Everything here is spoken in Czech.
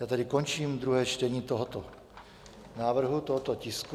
Já tedy končím druhé čtení tohoto návrhu, tohoto tisku.